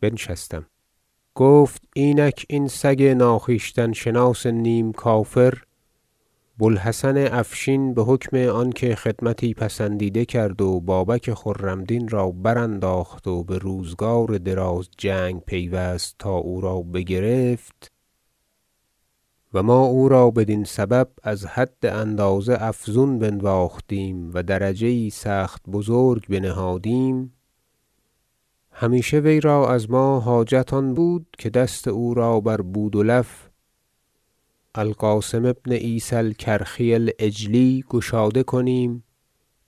بنشستم گفت اینک این سگ ناخویشتن شناس نیم کافر بو الحسن افشین بحکم آنکه خدمتی پسندیده کرد و بابک خرم دین را برانداخت و بروزگار دراز جنگ پیوست تا او را بگرفت و ما او را بدین سبب از حد اندازه افزون بنواختیم و درجه یی سخت بزرگ بنهادیم همیشه وی را از ما حاجت آن بود که دست او را بر بودلف- القاسم بن عیسی الکرخی العجلی- گشاده کنیم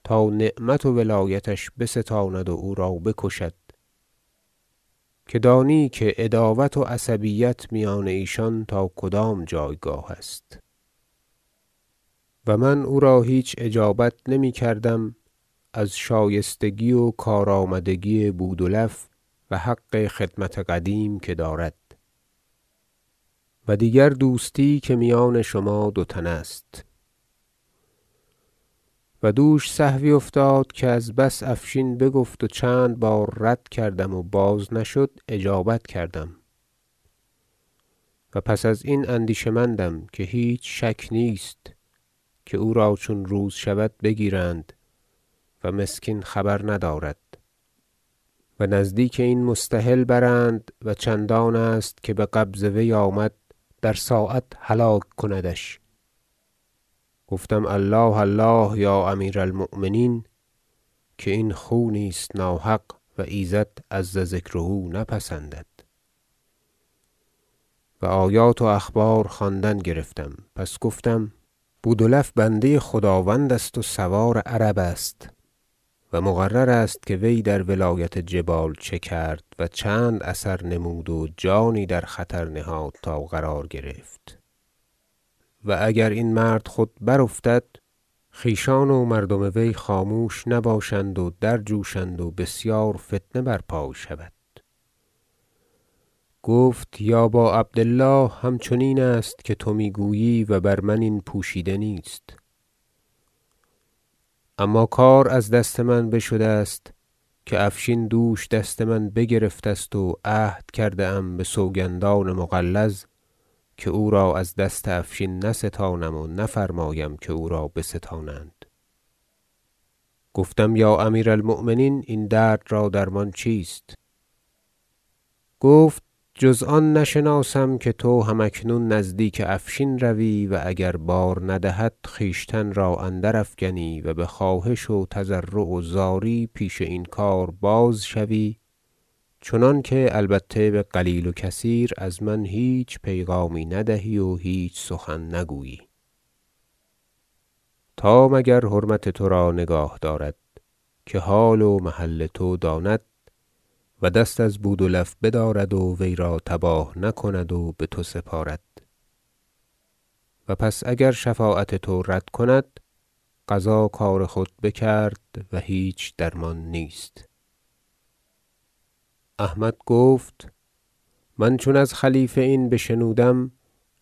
تا نعمت و ولایتش بستاند و او را بکشد که دانی عداوت و عصبیت میان ایشان تا کدام جایگاه است و من او را هیچ اجابت نمیکردم از شایستگی و کار- آمدگی بودلف و حق خدمت قدیم که دارد و دیگر دوستی که میان شما دو تن است و دوش سهوی افتاد که از بس افشین بگفت و چند بار رد کردم و باز نشد اجابت کردم و پس از این اندیشه مندم که هیچ شک نیست که او را چون روز شود بگیرند و مسکین خبر ندارد و نزدیک این مستحل برند و چندان است که بقبض وی آمد در ساعت هلاک کندش گفتم الله الله یا امیر المؤمنین که این خونی است ناحق و ایزد عزذکره نپسندد و آیات و اخبار خواندن گرفتم پس گفتم بودلف بنده خداوند است و سوار عرب است و مقرر است که وی در ولایت جبال چه کرد و چند اثر نمود و جانی در خطر نهاد تا قرار گرفت و اگر این مرد خود برافتد خویشان و مردم وی خاموش نباشند و درجوشند و بسیار فتنه برپای شود گفت یا با عبد الله همچنین است که تو می گویی و بر من این پوشیده نیست اما کار از دست من بشده است که افشین دوش دست من بگرفته است و عهد کرده ام بسوگندان مغلظ که او را از دست افشین نستانم و نفرمایم که او را بستانند گفتم یا امیر المؤمنین این درد را درمان چیست گفت جز آن نشناسم که تو هم اکنون نزدیک افشین روی و اگر بار ندهد خویشتن را اندر افکنی و بخواهش و تضرع و زاری پیش این کار بازشوی چنانکه البته بقلیل و کثیر از من هیچ پیغامی ندهی و هیچ سخن نگویی تا مگر حرمت ترا نگاه دارد که حال و محل تو داند و دست از بودلف بدارد و وی را تباه نکند و بتو سپارد و پس اگر شفاعت تو رد کند قضا کار خود بکرد و هیچ درمان نیست احمد گفت من چون از خلیفه این بشنودم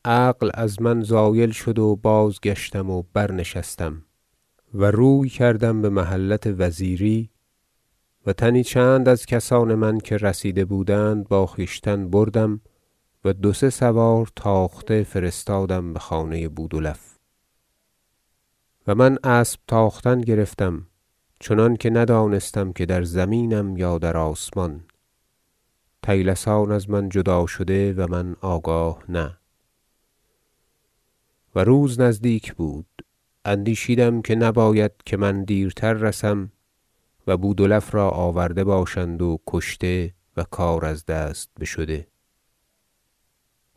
عقل از من زایل شد و بازگشتم و برنشستم و روی کردم بمحلت وزیری و تنی چند از کسان من که رسیده بودند با خویشتن بردم و دو سه سوار تاخته فرستادم بخانه بودلف و من اسب تاختن گرفتم چنانکه ندانستم که در زمینم یا در آسمان طیلسان از من جدا شده و من آگاه نه و روز نزدیک بود اندیشیدم که نباید که من دیرتر رسم و بودلف را آورده باشند و کشته و کار از دست بشده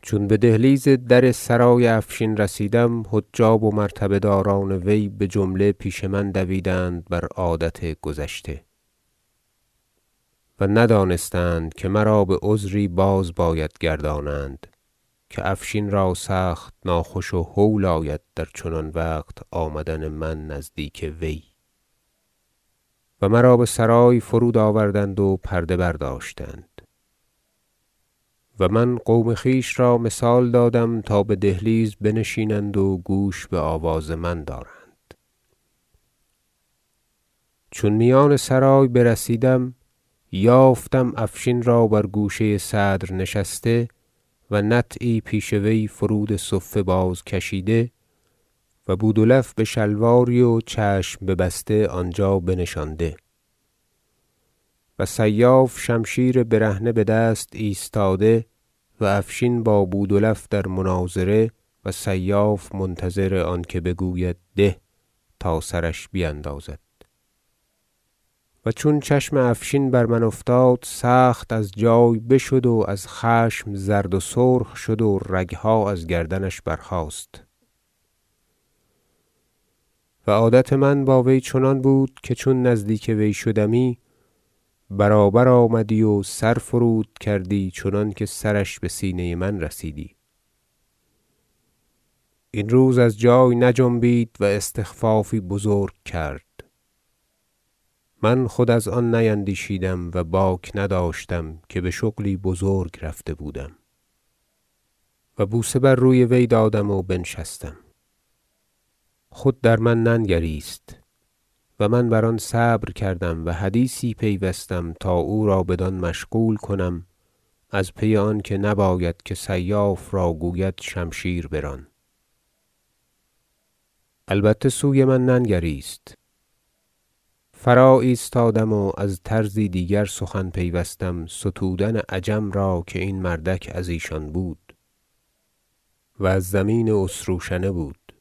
چون بدهلیز در سرای افشین رسیدم حجاب و مرتبه داران وی بجمله پیش من دویدند بر عادت گذشته و ندانستند که مرا بعذری باز باید گردانند که افشین را سخت ناخوش و هول آید در چنان وقت آمدن من نزدیک وی و مرا بسرای فرود آوردند و پرده برداشتند و من قوم خویش را مثال دادم تا بدهلیز بنشینند و گوش بآواز من دارند چون میان سرای برسیدم یافتم افشین را بر گوشه صدر نشسته و نطعی پیش وی فرود صفه باز کشیده و بودلف بشلواری و چشم ببسته آنجا بنشانده و سیاف شمشیر برهنه بدست ایستاده و افشین با بودلف در مناظره و سیاف منتظر آنکه بگوید ده تا سرش بیندازد و چون چشم افشین بر من افتاد سخت از جای بشد و از خشم زرد و سرخ شد و رگها از گردنش برخاست و عادت من با وی چنان بود که چون نزدیک وی شدمی برابر آمدی و سر فرود کردی چنانکه سرش بسینه من رسیدی این روز از جای نجنبید و استخفافی بزرگ کرد من خود از آن نیندیشیدم و باک نداشتم که بشغلی بزرگ رفته بودم و بوسه بر روی وی دادم و بنشستم خود در من ننگریست و من بر آن صبر کردم و حدیثی پیوستم تا او را بدان مشغول کنم از پی آنکه نباید که سیاف را گوید شمشیر بران البته سوی من ننگریست فراایستادم و از طرزی دیگر سخن پیوستم ستودن عجم را که این مردک از ایشان بود- و از زمین اسروشنه بود-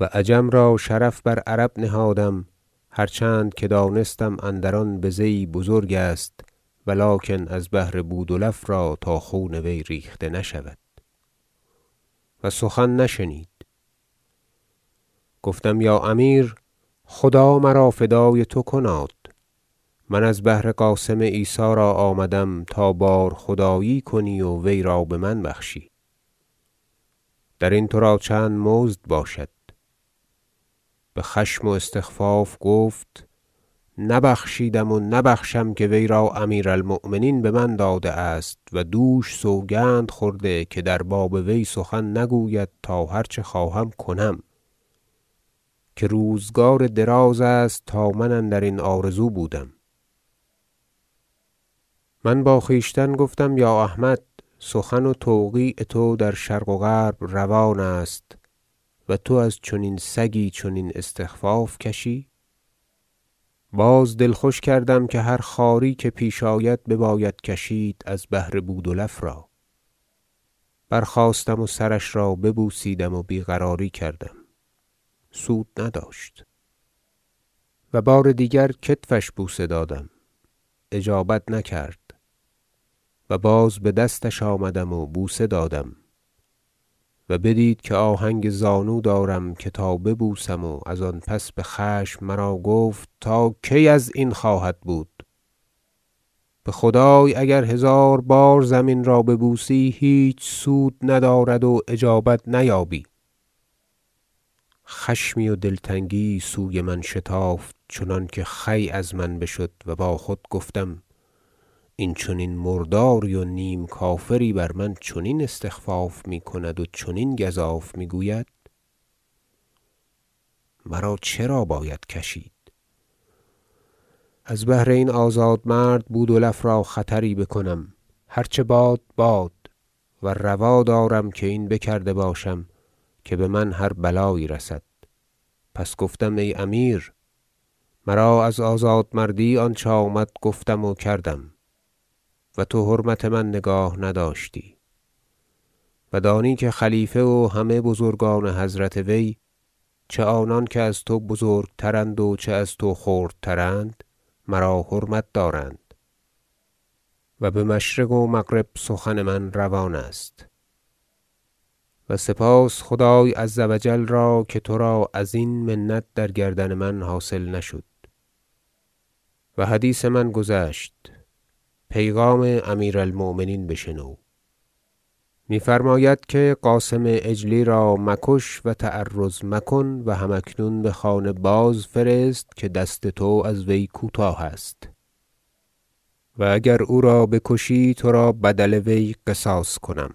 و عجم را شرف بر عرب نهادم هرچند که دانستم که اندر آن بزه یی بزرگ است و لکن از بهر بودلف را تا خون وی ریخته نشود و سخن نشنید گفتم یا امیر خدا مرا فدای تو کناد من از بهر قاسم عیسی را آمدم تا بار خدایی کنی و وی را بمن بخشی درین ترا چند مزد باشد بخشم و استخفاف گفت نبخشیدم و نبخشم که وی را امیر المؤمنین بمن داده است و دوش سوگند خورده که در باب وی سخن نگوید تا هرچه خواهم کنم که روزگار دراز است تا من اندرین آرزو بودم من با خویشتن گفتم یا احمد سخن و توقیع تو در شرق و غرب روان است و تو از چنین سگی چنین استخفاف کشی باز دل خوش کردم که هر خواری که پیش آید بباید کشید از بهر بودلف را برخاستم و سرش را ببوسیدم و بیقراری کردم سود نداشت و بار دیگر کتفش بوسه دادم اجابت نکرد و باز بدستش آمدم و بوسه دادم و بدید که آهنگ زانو دارم که تا ببوسم و از آن پس بخشم مرا گفت تا کی ازین خواهد بود بخدای اگر هزار بار زمین را ببوسی هیچ سود ندارد و اجابت نیابی خشمی و دلتنگی یی سوی من شتافت چنانکه خوی از من بشد و با خود گفتم این چنین مرداری و نیم کافری بر من چنین استخفاف میکند و چنین گزاف میگوید مرا چرا باید کشید از بهر این آزاد مرد بودلف را خطری بکنم هرچه باد باد و روا دارم که این بکرده باشم که بمن هر بلایی رسد پس گفتم ای امیر مرا از آزاد مردی آنچه آمد گفتم و کردم و تو حرمت من نگاه نداشتی و دانی که خلیفه و همه بزرگان حضرت وی چه آنان که از تو بزرگ تراند و چه از تو خردتر- اند مرا حرمت دارند و بمشرق و مغرب سخن من روان است و سپاس خدای عزوجل را که ترا ازین منت در گردن من حاصل نشد و حدیث من گذشت پیغام امیر المؤمنین بشنو می فرماید که قاسم عجلی را مکش و تعرض مکن و هم اکنون بخانه بازفرست که دست تو از وی کوتاه است و اگر او را بکشی ترا بدل وی قصاص کنم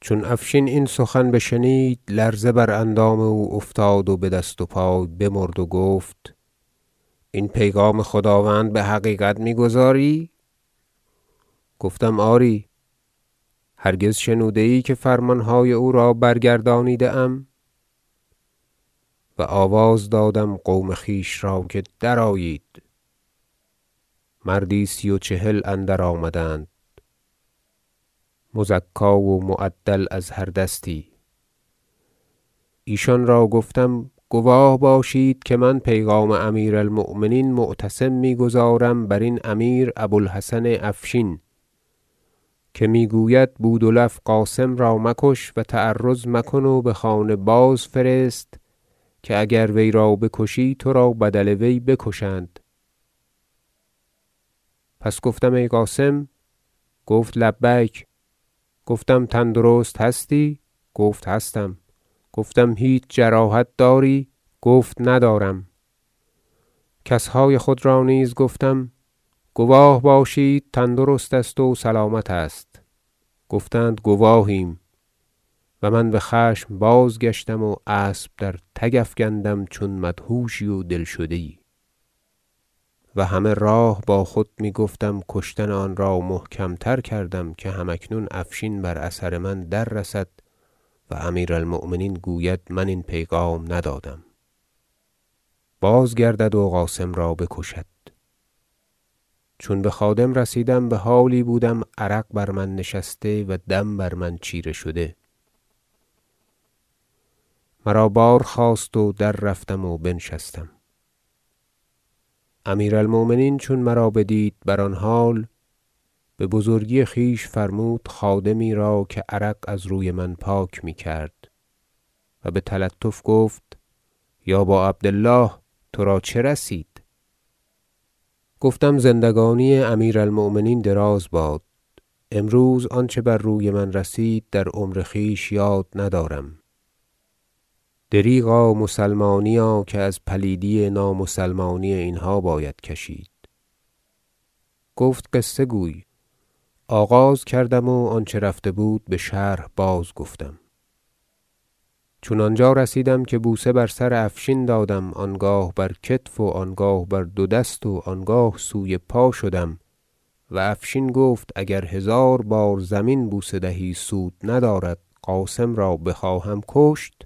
چون افشین این سخن بشنید لرزه بر اندام او افتاد و بدست و پای بمرد و گفت این پیغام خداوند بحقیقت می گزاری گفتم آری هرگز شنوده ای که فرمانهای او را برگردانیده ام و آواز دادم قوم خویش را که درآیید مردی سی و چهل اندر آمدند مزکی و معدل از هر دستی ایشان را گفتم گواه باشید که من پیغام امیر المؤمنین معتصم میگزارم برین امیر ابو الحسن افشین که می گوید بودلف قاسم را مکش و تعرض مکن و بخانه بازفرست که اگر وی را بکشی ترا بدل وی بکشند پس گفتم ای قاسم گفت لبیک گفتم تندرست هستی گفت هستم گفتم هیچ جراحت داری گفت ندارم کسهای خود را نیز گفتم گواه باشید تندرست است و سلامت است گفتند گواهیم و من بخشم بازگشتم و اسب درتگ افکندم چون مدهوشی و دل شده یی و همه راه با خود میگفتم کشتن آن را محکم تر کردم که هم اکنون افشین بر اثر من دررسد و امیر المؤمنین گوید من این پیغام ندادم بازگردد و قاسم را بکشد چون بخادم رسیدم بحالی بودم عرق بر من نشسته و دم بر من چیره شده مرا بار خواست و دررفتم و بنشستم امیر- المؤمنین چون مرا بدید بر آن حال ببزرگی خویش فرمود خادمی را که عرق از روی من پاک می کرد و بتلطف گفت یا با عبد الله ترا چه رسید گفتم زندگانی امیر- المؤمنین دراز باد امروز آنچه بر روی من رسید در عمر خویش یاد ندارم دریغا مسلمانیا که از پلیدی نامسلمانی اینها باید کشید گفت قصه گوی آغاز کردم و آنچه رفته بود بشرح بازگفتم چون آنجا رسیدم که بوسه بر سر افشین دادم و آنگاه بر کتف و آنگاه بر دو دست و آنگاه سوی پا شدم و افشین گفت اگر هزار بار زمین بوسه دهی سود ندارد قاسم را بخواهم کشت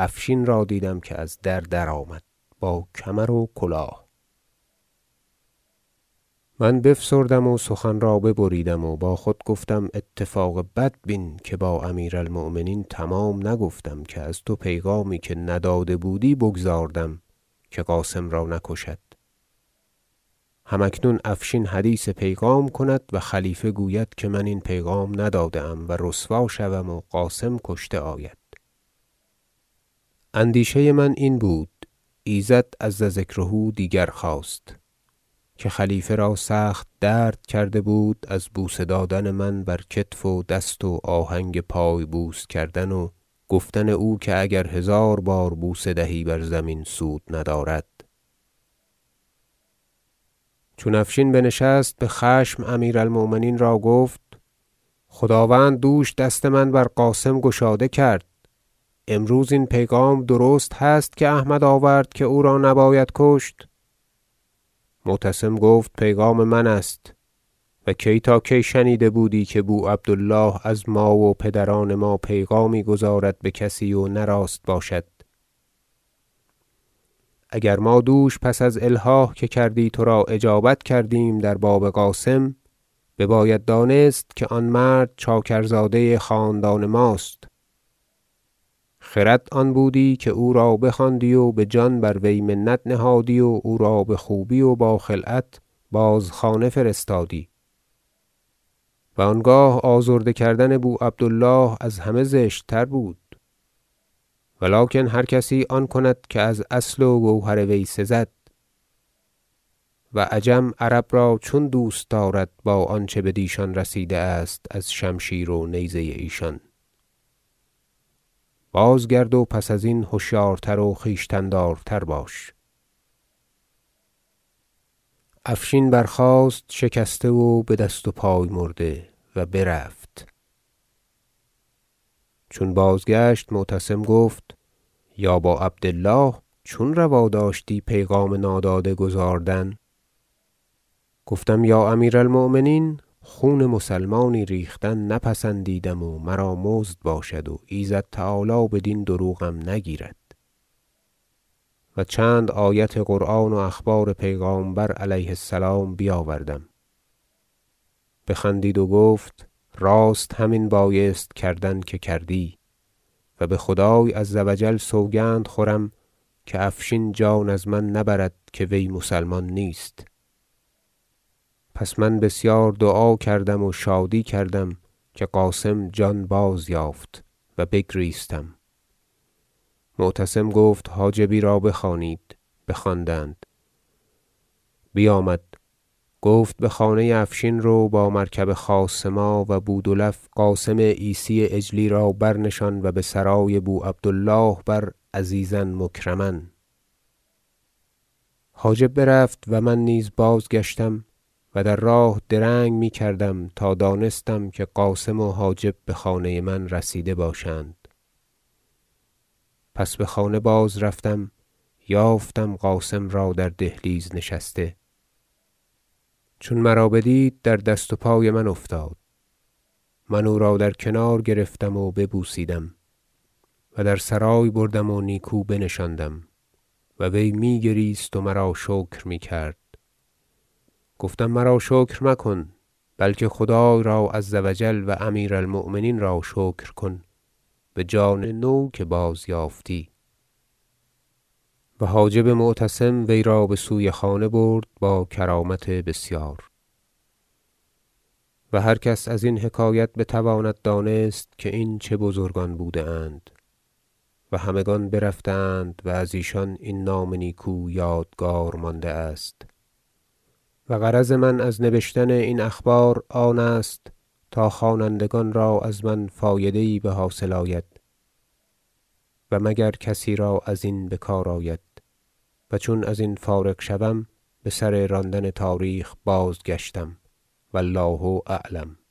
افشین را دیدم که از در درآمد با کمر و کلاه من بفسردم و سخن را ببریدم و با خود گفتم اتفاق بدبین که با امیر المؤمنین تمام نگفتم که از تو پیغامی که نداده بودی بگزاردم که قاسم را نکشد هم اکنون افشین حدیث پیغام کند و خلیفه گوید که من این پیغام نداده ام و رسوا شوم و قاسم کشته آید اندیشه من این بود ایزد عزذکره دیگر خواست که خلیفه را سخت درد کرده بود از بوسه دادن من بر کتف و دست و آهنگ پای بوس کردن و گفتن او که اگر هزار بار بوسه دهی بر زمین سود ندارد چون افشین بنشست بخشم امیر المؤمنین را گفت خداوند دوش دست من بر قاسم گشاده کرد امروز این پیغام درست هست که احمد آورد که او را نباید کشت معتصم گفت پیغام من است و کی تا کی شنیده بودی که بو عبد الله از ما و پدران ما پیغامی گزارد بکسی و نه راست باشد اگر ما دوش پس از الحاح که کردی ترا اجابت کردیم در باب قاسم بباید دانست که آن مرد چاکرزاده خاندان ماست خرد آن بودی که او را بخواندی و بجان بر وی منت نهادی و او را بخوبی و با خلعت باز خانه فرستادی و آنگاه آزرده کردن بو عبد الله از همه زشت تر بود و لکن هرکسی آن کند که از اصل و گوهر وی سزد و عجم عرب را چون دوست دارد با آنچه بدیشان رسیده است از شمشیر و نیزه ایشان بازگرد و پس ازین هشیارتر و خویشتن دارتر باش افشین برخاست شکسته و بدست و پای مرده و برفت چون بازگشت معتصم گفت یا با عبد الله چون روا داشتی پیغام ناداده گزاردن گفتم یا امیر- المؤمنین خون مسلمانی ریختن نپسندیدم و مرا مزد باشد و ایزد تعالی بدین دروغم نگیرد و چند آیت قرآن و اخبار پیغامبر علیه السلام بیاوردم بخندید و گفت راست همین بایست کردن که کردی و بخدای عزوجل سوگند خوردم که افشین جان از من نبرد که وی مسلمان نیست پس من بسیار دعا کردم و شادی کردم که قاسم جان بازیافت و بگریستم معتصم گفت حاجبی را بخوانید بخواندند بیامد گفت بخانه افشین رو با مرکب خاص ما و بودلف قاسم عیسی عجلی را بر نشان و بسرای بو عبد الله بر عزیزا و مکرما حاجب برفت و من نیز بازگشتم و در راه درنگ می کردم تا دانستم که قاسم و حاجب بخانه من رسیده باشند پس بخانه بازرفتم یافتم قاسم را در دهلیز نشسته چون مرا بدید در دست و پای من افتاد من او را در کنار گرفتم و ببوسیدم و در سرای بردم و نیکو بنشاندم و وی می گریست و مرا شکر میکرد گفتم مرا شکر مکن بلکه خدای را عزوجل و امیر المؤمنین را شکر کن بجان نو که بازیافتی و حاجب معتصم وی را بسوی خانه برد با کرامت بسیار و هر کس از این حکایت بتواند دانست که این چه بزرگان بوده اند و همگان برفته اند و از ایشان این نام نیکو یادگار مانده است و غرض من از نبشتن این اخبار آن است تا خوانندگان را از من فایده یی بحاصل آید و مگر کسی را ازین بکار آید و چون ازین فارغ گشتم بسر راندن تاریخ بازگشتم و الله اعلم